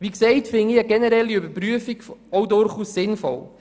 Wie erwähnt, halte ich eine generelle Überprüfung durchaus für sinnvoll.